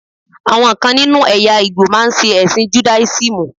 Àwọn kan nínú ẹ̀yà Ìgbò máa ṣe ẹ̀sìn judáísímù.